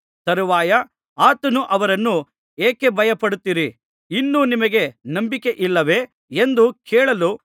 ತರುವಾಯ ಆತನು ಅವರನ್ನು ಯಾಕೆ ಭಯಪಡುತ್ತೀರಿ ಇನ್ನೂ ನಿಮಗೆ ನಂಬಿಕೆಯಿಲ್ಲವೇ ಎಂದು ಕೇಳಲು